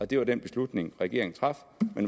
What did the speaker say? det var den beslutning regeringen traf